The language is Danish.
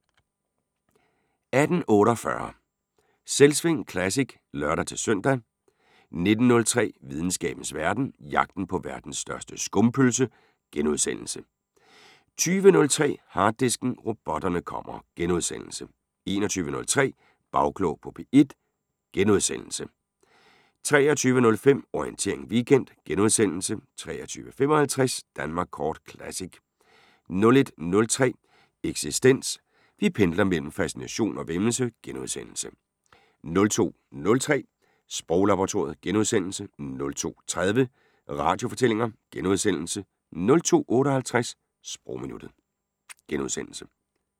18:48: Selvsving Classic (lør-søn) 19:03: Videnskabens Verden: Jagten på verdens største skumpølse * 20:03: Harddisken: Robotterne kommer * 21:03: Bagklog på P1 * 23:05: Orientering Weekend * 23:55: Danmark Kort Classic 01:03: Eksistens: Vi pendler mellem fascination og væmmelse * 02:03: Sproglaboratoriet * 02:30: Radiofortællinger * 02:58: Sprogminuttet *